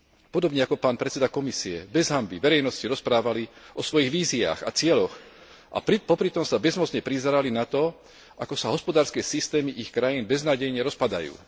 Podobne ako pán predseda Komisie, bez hanby verejnosti rozprávali o svojich víziách a cieľoch a popritom sa bezmocne prizerali tomu, ako sa hospodárske systémy ich krajín beznádejne rozpadajú.